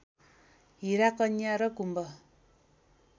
हीरा कन्या र कुम्भ